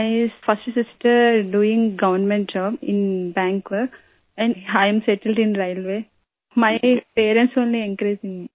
my first sister doing government job in bank and I am settled in railway my parents only encourage may